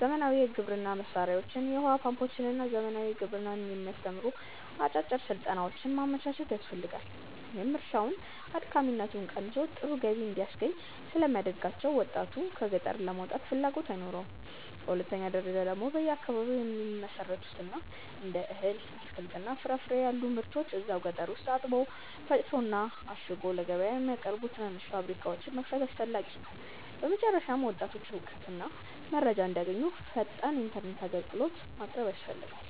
ዘመናዊ የግብርና መሣሪያዎችን፣ የውኃ ፓምፖችንና ዘመናዊ ግብርናን የሚያስተምሩ አጫጭር ሥልጠናዎችን ማመቻቸት ያስፈልጋል፤ ይህም እርሻውን አድካሚነቱ ቀንሶ ጥሩ ገቢ እንዲያስገኝ ስለሚያደርጋቸው ወጣቱ ከገጠር ለመውጣት ፍላጎት አይኖረውም። በሁለተኛ ደረጃ ደግሞ በየአካባቢው የሚመረቱትን እንደ እህል፣ አትክልትና ፍራፍሬ ያሉ ምርቶችን እዛው ገጠር ውስጥ አጥቦ፣ ፈጭቶና አሽጎ ለገበያ የሚያቀርቡ ትናንሽ ፋብሪካዎችን መክፈት አስፈላጊ ነው። በመጨረሻም ወጣቶች እውቀትና መረጃ እንዲያገኙ ፈጣን ኢተርኔት አግልግሎት ማቅረብ ያስፈልጋል